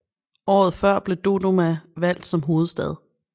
Året før blev Dodoma valgt som hovedstad